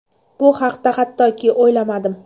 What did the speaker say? Bu haqda hattoki o‘ylamadim.